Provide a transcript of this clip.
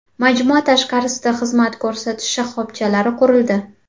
Majmua tashqarisida xizmat ko‘rsatish shoxobchalari qurildi.